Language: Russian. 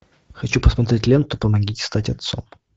хочу посмотреть ленту помогите стать отцом